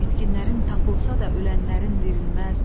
İtkinlərin tapılsa da ölənlərin dirilməz.